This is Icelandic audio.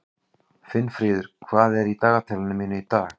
Finnfríður, hvað er í dagatalinu mínu í dag?